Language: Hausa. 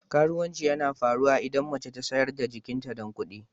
Karuwanci yana faruwa idan mace ta sayar da jikinta don kudi.